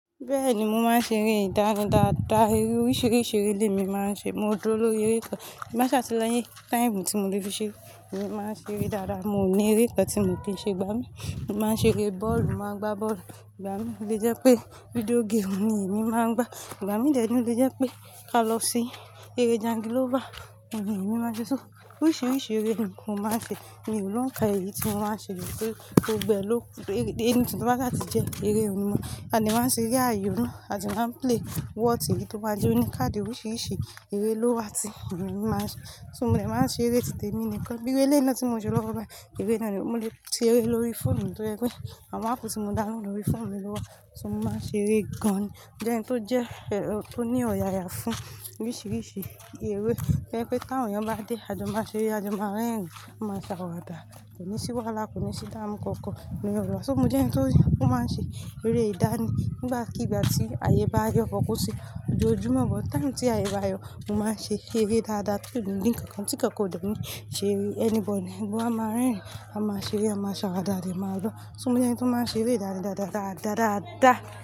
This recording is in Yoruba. Bẹ́ẹ̀ni, mo máa ń ṣe eré ìdáraya dada Eré oríṣìíríṣìí eré lé mi maa n ṣe. Mo dúró lórí eré ìtàn. Tí n gbà sáà tí láyé time tí mo lè fi ṣe, mo máa ń ṣe eré dáda. Mo ní eré kan tí mo kin ṣe gbá mí. Mo máa ń ṣe eré bọ́ọ̀lù, mo màá n gba bọ́ọ̀lù igbá mi. O lẹ jẹ́ pé video game ni èmi máa ń gbá. Ìgbà mí dẹ ni o lè jẹ́ pé ká lọ sí eré jangilova, ni èmi máa ṣe só. Oríṣìíríṣìí eré ni mo máa ń ṣe. Èmi ò lońkà èyí tí mo máa ń ṣe lóṣù tó gbẹ ló. Eré-- èyí tí wọ́n bá ṣe jẹ́ eré olúmọ. A lè máa ń ṣe ère ayò, a dé máa ń play wọ́ọ̀tì, to bá jẹ́ o ní káàdì oríṣìíríṣìí eré ló wà tí mi ò máa ń ṣe. So mò ní máa ń ṣe eré tí tèmi nìkan. Bí irú eléyi náà tí mo ń lọ́wọ́ báyi, eré náà ni mo lè ṣe eré lórí fóònù tó jẹ́ pé àwọn áàpù tí mo download lórí fóònù mi ló wà. So mo máa ń ṣe eré gan-an. Mo jẹ́ ẹni tó jẹ́, tó ní ọ̀yàyà fún oríṣìíríṣìí eré. To jẹ pé táwọn èèyàn bá dé, a jọ máa ṣe eré, a jọ máa rẹ́rìń, a máa ṣàwàdà. Kò ní sí wàhálà kò ní sí ìdàmú kankan ni ẹ wà. So mo jẹ́ ẹni tó máa ń ṣe eré ìdánì. Nígbàkigbà tí àyè bá yọ but kò ń ṣe ojoojumo, but time tí àyè bá yọ, mo máa ń ṣe eré dáadáa kí ò ní ní ǹkan kan tí kankan ò dání ṣe eré anybody. A máa rẹ́rìń, a máa ṣe eré, a máa ṣàwàdà lé máa gbọ́. So mo jẹ́ ẹni tó máa ń ṣe eré ìdárayá dáadáá.